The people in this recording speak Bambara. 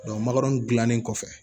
magal gilanen kɔfɛ